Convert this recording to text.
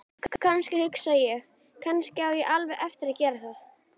Jú, kannski, hugsa ég: Kannski á ég alveg eftir að gera það.